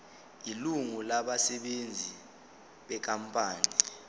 ilungu labasebenzi benkampani